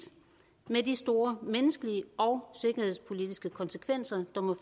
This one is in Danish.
med de store menneskelige og sikkerhedspolitiske konsekvenser der må